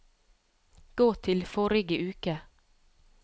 gå til forrige uke